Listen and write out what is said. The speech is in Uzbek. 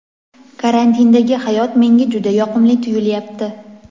Karantindagi hayot menga juda yoqimli tuyulyapti.